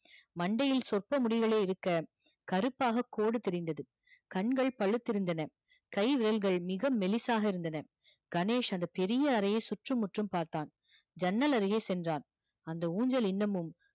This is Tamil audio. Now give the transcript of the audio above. மண்டையில் சொற்ப முடிகளே இருக்க கருப்பாக கோடு தெரிந்தது கண்கள் பழுத்திருந்தன கை விரல்கள் மிக மெலிசாக இருந்தன கணேஷ் அந்த பெரிய அறையை சுற்றும் முற்றும் பார்த்தான் ஜன்னல் அருகே சென்றான் அந்த ஊஞ்சல் இன்னமும்